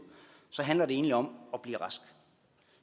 handler det egentlig om at blive rask